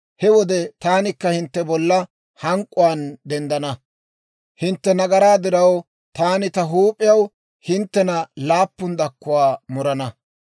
he wode taanikka hintte bolla hank'k'uwaan denddana; hintte nagaraa diraw taani ta huup'iyaw hinttena laappun dakkuwaa muran.